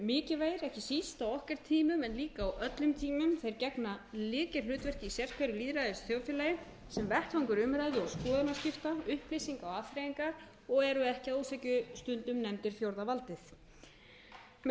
mikilvægir ekki síst á okkar tímum en líka á öllum tímum þeir gegna lykilhlutverki í sér hverju lýðræðisþjóðfélagi sem vettvangur umræðu og skoðanaskipta upplýsinga og afþreyingar og eru ekki að ósekju stundum nefndir fjórða valdið með